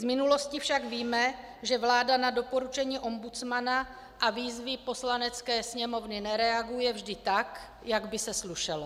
Z minulosti však víme, že vláda na doporučení ombudsmana a výzvy Poslanecké sněmovny nereaguje vždy tak, jak by se slušelo.